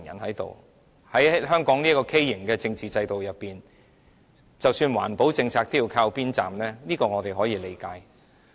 在香港這個畸形的政治制度裏面，即使環保政策也要靠邊站，這我們可以理解。